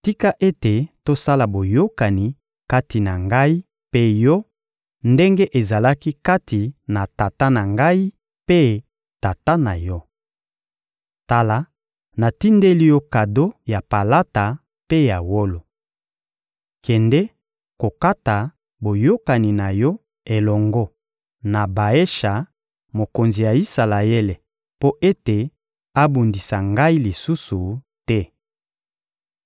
«Tika ete tosala boyokani kati na ngai mpe yo ndenge ezalaki kati na tata na ngai mpe tata na yo. Tala, natindeli yo kado ya palata mpe ya wolo. Kende kokata boyokani na yo elongo na Baesha, mokonzi ya Isalaele, mpo ete abundisa ngai lisusu te.»